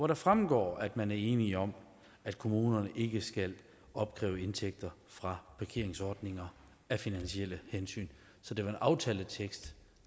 det fremgår at man er enige om at kommunerne ikke skal opkræve indtægter fra parkeringsordninger af finansielle hensyn så det var en aftaletekst